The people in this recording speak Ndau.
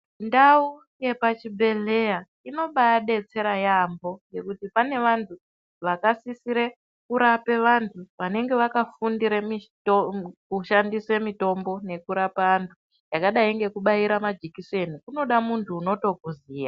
Ndau yepachibhedhlera inobadetsera yaambo, ngekuti pane vanthu vakasisira kurape anhu vanenge vakafundira kushandisa mitombo yekurapa anthu yakadai nekubaira majikiseni zvoda munhu unotokuziya .